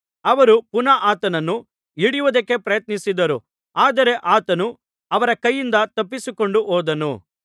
ಅವರು ಪುನಃ ಆತನನ್ನು ಹಿಡಿಯುವುದಕ್ಕೆ ಪ್ರಯತ್ನಿಸಿದರು ಆದರೆ ಆತನು ಅವರ ಕೈಯಿಂದ ತಪ್ಪಿಸಿಕೊಂಡು ಹೋದನು